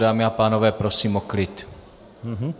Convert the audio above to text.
Dámy a pánové, prosím o klid.